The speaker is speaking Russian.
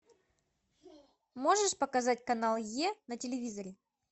можешь показать канал е на телевизоре